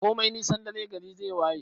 Komai nisan dare gari zai waye